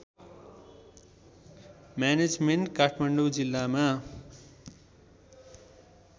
management Kathmandu जिल्लामा